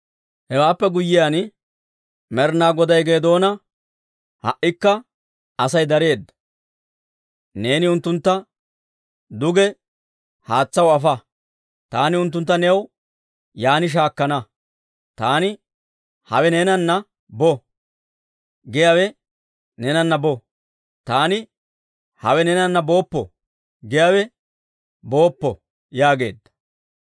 Hewaappe guyyiyaan Med'inaa Goday Geedoona, «Ha"ikka Asay dareedda. Neeni unttuntta duge haatsaw afa; taani unttuntta new yaan shaakkana. Taani, ‹Hawee neenana bo› giyaawe neenana bo; taani, ‹Hawee neenana booppo› giyaawe booppo» yaageedda.